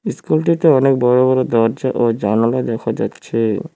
ইস্কুলটিতে অনেক বড় বড় দরজা ও জানলা দেখা যাচ্ছে।